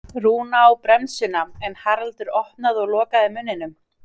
Rúna á bremsuna en Haraldur opnaði og lokaði munninum.